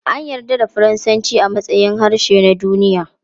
An yarda da Faransanci a matsayin harshe na duniya.